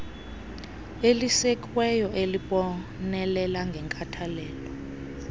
elisekiweyo elibonelela ngenkathalelo